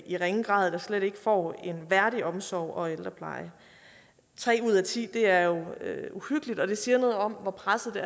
i ringe grad eller slet ikke får en værdig omsorg og ældrepleje tre ud af ti er jo uhyggeligt og det siger noget om hvor presset